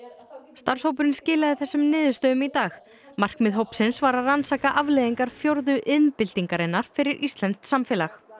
starfshópurinn skilaði þessum niðurstöðum í dag markmið hópsins var að rannsaka afleiðingar fjórðu iðnbyltingarinnar fyrir íslenskt samfélag